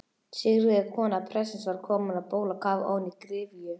Sigríður kona prestsins var komin á bólakaf ofan í gryfju.